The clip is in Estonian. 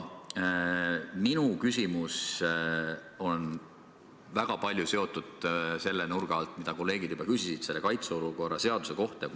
Minu küsimus on sama nurga alt, nagu kolleegid juba küsisid selle kaitseolukorra kohta.